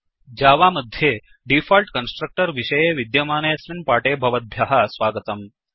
Java मध्ये default constructor विषये विद्यमानेऽस्मिन् पाठे भवद्भ्यः स्वागतम्